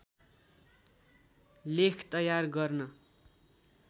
लेख तयार गर्न